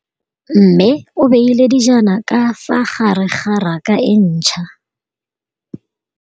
Mmê o beile dijana ka fa gare ga raka e ntšha.